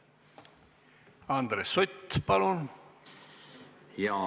Andres Sutt, palun!